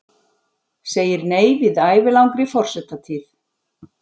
Segir nei við ævilangri forsetatíð